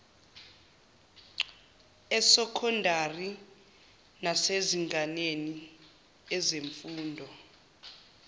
esokhondari nasemazingeni ezemfundo